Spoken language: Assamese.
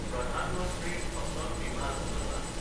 প্ৰধান মন্ত্ৰী ফাচাল বিমা যোজনা